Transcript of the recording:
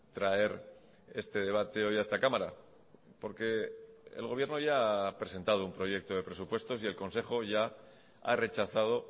traer este debate hoy a esta cámara porque el gobierno ya ha presentado un proyecto de presupuestos y el consejo ya ha rechazado